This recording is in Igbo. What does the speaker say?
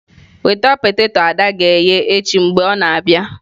Weta poteto ada ga-eghe echi mgbe ọ na-abịa.